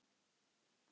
að ég geti þetta ekki.